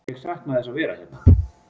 Ég sakna þess að vera hérna.